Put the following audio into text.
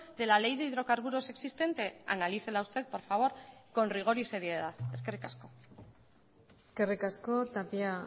de la ley de hidrocarburos existente analícela usted por favor con rigor y seriedad eskerrik asko eskerrik asko tapia